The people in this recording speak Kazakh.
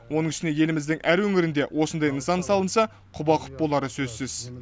оның үстіне еліміздің әр өңірінде осындай нысан салынса құба құп болары сөзсіз